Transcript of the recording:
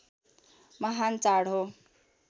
महान् चाड हो